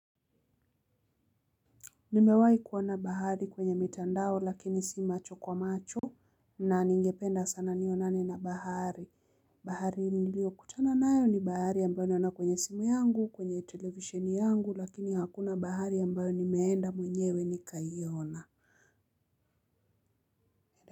Nimewahi kuona bahari kwenye mitandao lakini si macho kwa macho na ningependa sana nionane na bahari. Bahari niliokutana nayo ni bahari ambayo naona kwenye simu yangu kwenye television yangu lakini hakuna bahari ambayo nimeenda mwenyewe nikaiona.